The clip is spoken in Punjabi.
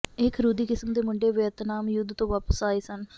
ਇਹ ਖਰੂਦੀ ਕਿਸਮ ਦੇ ਮੁੰਡੇ ਵੀਅਤਨਾਮ ਯੁੱਧ ਤੋਂ ਵਾਪਸ ਆਏ ਸਨ